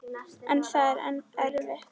En það er erfitt.